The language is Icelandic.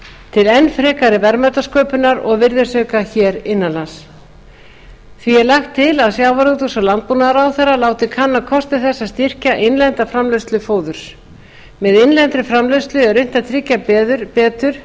til enn frekari verðmætasköpunar og virðisauka hér innan lands því er lagt til að sjávarútvegs og landbúnaðarráðherra láti kanna kosti þess að styrkja innlenda framleiðslu fóðurs með innlendri framleiðslu er unnt að tryggja betur